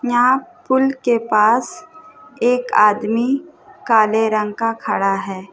यहाँ पूल के पास एक आदमी काले रंग का खड़ा है।